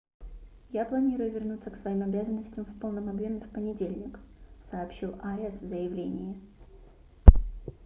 я планирую вернуться к своим обязанностям в полном объеме в понедельник - сообщил ариас в заявлении